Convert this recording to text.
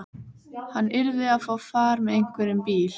Hann yrði að fá far með einhverjum bíl.